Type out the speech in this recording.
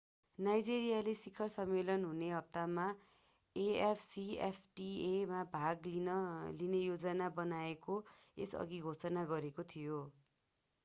नाइजेरियाले शिखर सम्मेलन हुने हप्तामा afcfta मा भाग लिने योजना बनाएको यसअघि घोषणा गरेको थियो